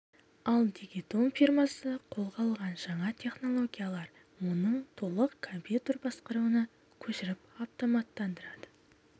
ал дигитон фирмасы қолға алған жаңа технологиялар оны толық компьютер басқаруына көшіріп автоматтандырады